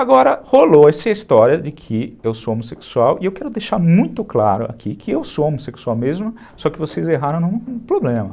Agora, rolou essa história de que eu sou homossexual e eu quero deixar muito claro aqui que eu sou homossexual mesmo, só que vocês erraram num problema.